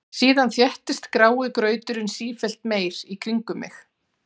Síðan þéttist grái grauturinn sífellt meir í kringum mig.